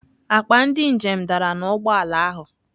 Akpa ndị njem dara n'ụgbọ ala ahụ.